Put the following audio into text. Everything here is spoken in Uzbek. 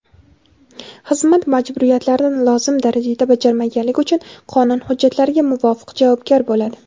xizmat majburiyatlarini lozim darajada bajarmaganligi uchun qonun hujjatlariga muvofiq javobgar bo‘ladi.